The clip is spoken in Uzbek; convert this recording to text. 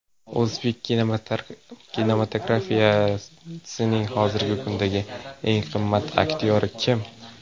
O‘zbek kinematografiyasining hozirgi kundagi eng qimmat aktyori kim?